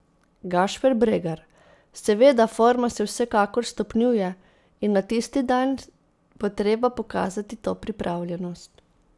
Gašper Bregar: 'Seveda, forma se vsekakor stopnjuje in na tisti dan bo treba pokazati to pripravljenost.